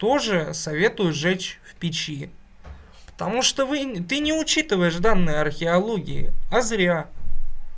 тоже советую сжечь в печи потому что вы ты не учитываешь данные археологии а зря